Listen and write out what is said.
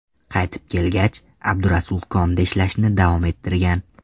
Qaytib kelgach, Abdurasul konda ishlashni davom ettirgan.